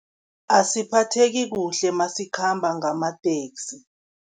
Asiphatheki kuhle nasikhamba ngamateksi.